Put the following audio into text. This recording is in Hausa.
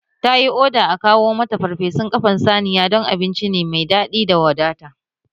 Ta yi oda a kawo mata parpesun ƙafan saniya don abinci ne mai daɗi da wadata